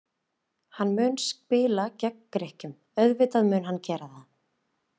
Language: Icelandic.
Hann mun spila gegn Grikkjum, auðvitað mun hann gera það.